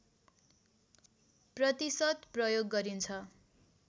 प्रतिशत प्रयोग गरिन्छ